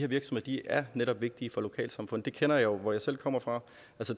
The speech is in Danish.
virksomheder netop er vigtige for lokalsamfundet det kender jeg jo hvor jeg selv kommer fra